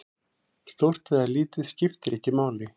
Stórt eða lítið, skiptir ekki máli.